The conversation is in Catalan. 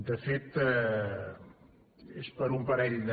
de fet és per un parell de